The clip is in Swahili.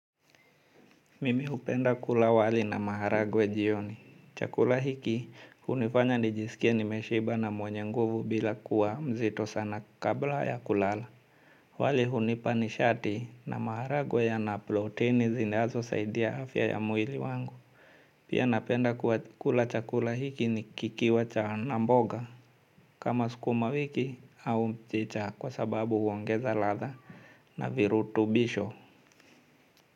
Mimi hupenda kula wali na maharagwe jioni. Chakula hiki hunifanya nijisikie nimeshiba na mwenye nguvu bila kuwa mzito sana kabla ya kulala. Wali hunipa nishati na maharagwe yana proteini zinazosaidia afya ya mwili wangu. Pia napenda kula chakula hiki kikiwa na mboga kama sukumawiki au mchicha kwa sababu huongeza ladha na virutubisho.